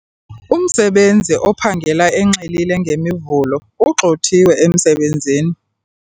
Umsebenzi ophangela enxilile ngeMivulo ugxothiwe emsebenzini.